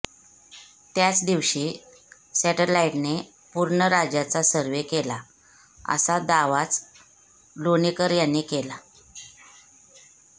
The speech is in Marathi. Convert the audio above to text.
त्याच दिवशी सॅटलाईटने पूर्ण राज्याचा सर्व्हे केला असा दावाच लोणीकर यांनी केला